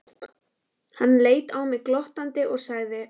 Hann leit á mig glottandi og sagði